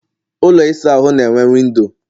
ụlọ ịsa ahụ na enwe windo